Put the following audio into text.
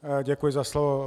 Děkuji za slovo.